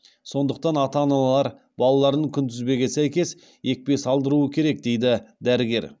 сондықтан ата аналар балаларын күнтізбеге сәйкес екпе салдыруы керек дейді дәрігер